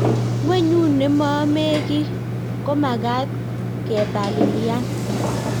gwenyut nemomee ki komakat kepalilian.